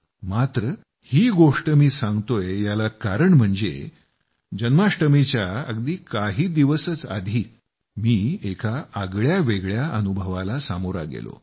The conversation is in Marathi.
मात्र ही गोष्ट मी करतोय याला कारण म्हणजे जन्माष्टमीच्या अगदी काही दिवसच आधी मी एका आगळ्यावेगळ्या अनुभवाला सामोरा गेलो